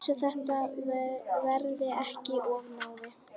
Svo þetta verði ekki of náið.